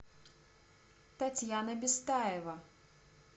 татьяна бестаева